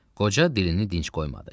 Qoca dilini dincl qoymadı.